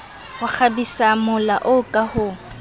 ho kgabisamola oo ka ho